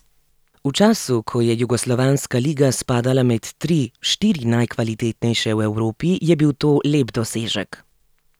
V času, ko je jugoslovanska liga spadala med tri, štiri najkvalitetnejše v Evropi, je bil to lep dosežek.